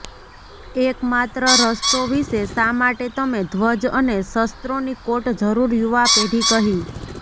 એક માત્ર રસ્તો વિશે શા માટે તમે ધ્વજ અને શસ્ત્રોની કોટ જરૂર યુવા પેઢી કહી